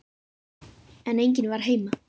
En enginn var heima.